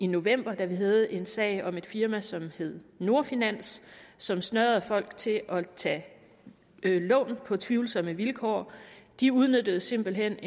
november da vi havde en sag om et firma som hed nordfinans som snørede folk til at tage lån på tvivlsomme vilkår de udnyttede simpelt hen